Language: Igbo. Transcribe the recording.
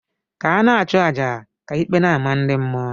Ka ana achu aja, ka ikpe n' amah ndi mmuo.